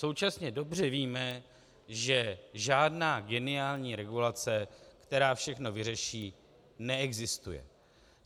Současně dobře víme, že žádná geniální regulace, která všechno vyřeší, neexistuje.